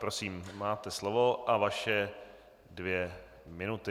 Prosím, máte slovo a své dvě minuty.